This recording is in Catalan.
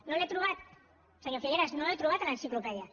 no ho he trobat senyor figueras no ho he trobat a l’enciclopèdia